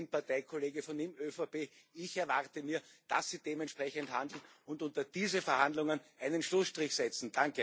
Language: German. Sie sind Parteikollege von ihm in der ÖVP Ich erwarte mir, dass Sie dementsprechend handeln und unter diese Verhandlungen einen Schlussstrich setzen.